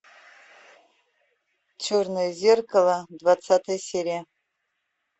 черное зеркало двадцатая серия